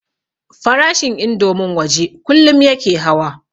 Farashin indomin waje kullum yake hawa